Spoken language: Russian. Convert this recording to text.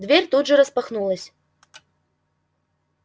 дверь тут же распахнулась